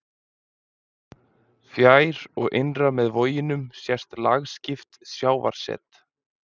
Fjær og innar með voginum sést lagskipt sjávarset.